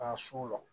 Ka so la